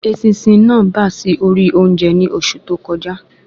Eṣinṣin náà bá sì ori oúnjẹ ni oṣù tó kọjá